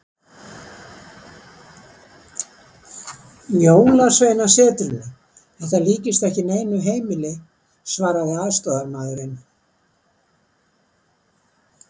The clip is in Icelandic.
Jólasveinasetrinu, þetta líkist ekki neinu heimili, svaraði aðstoðarmaðurinn.